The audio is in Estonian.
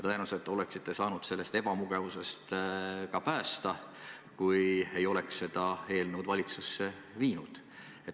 Tõenäoliselt oleksite saanud end sellest ebamugavusest ka päästa, kui ei oleks seda eelnõu valitsusse viinud.